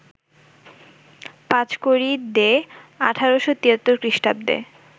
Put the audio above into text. Panchkari De ১৮৭৩ খৃষ্টাব্দে